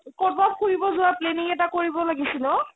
কৰোবাত ফুৰিব জুৱাৰ planning এটা কৰিব লাগিছিল ও